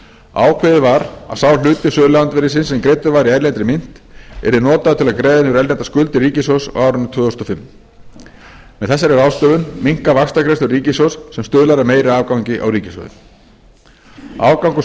ákveðið var að sá hluti söluandvirðisins sem greiddur var í erlendri mynt yrði notaður til að greiða niður erlendar skuldir ríkissjóðs á árinu tvö þúsund og fimm með þessari ráðstöfun minnka vaxtagreiðslur ríkissjóðs sem stuðlar að meiri afgangi á ríkissjóði afgangur